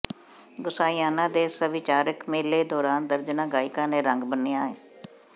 ਗੁਸਾਈਾਆਣਾ ਦੇ ਸਭਿਆਚਾਰਕ ਮੇਲੇ ਦੌਰਾਨ ਦਰਜਨਾਂ ਗਾਇਕਾਂ ਨੇ ਰੰਗ ਬੰਨਿ੍ਹਆ